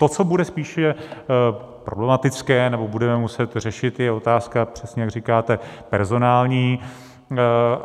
To, co bude spíše problematické nebo budeme muset řešit, je otázka, přesně jak říkáte, personální.